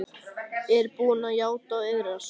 Er hún búin að játa og iðrast?